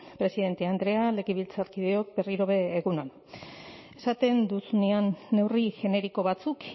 presidente andrea legebiltzarkideok berriro ere egun on esaten duzunean neurri generiko batzuk